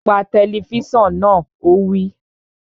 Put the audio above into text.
Pa tẹlifísàn náà! Ó wí